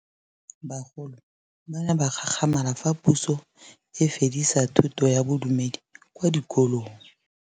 Bagolo ba ne ba gakgamala fa Pusô e fedisa thutô ya Bodumedi kwa dikolong.